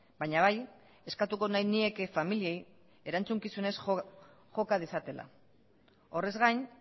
baina bai eskatuko nahi nieke familiei erantzukizunez joka dezatela horrez gain